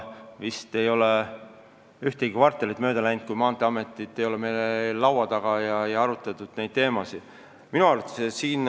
Vist ei ole ühtegi kvartalit mööda läinud, kui Maanteeamet ei ole meie laua taga olnud, et saaksime neid teemasid arutada.